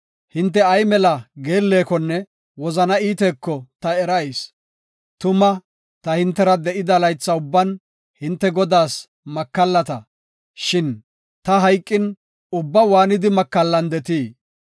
Hinte ay mela geellekonne wozana iiteko ta erayis. Tuma, ta hintera de7ida laytha ubban hinte Godaas makallata, shin ta hayqin, ubba hintte waanidi makallandetii?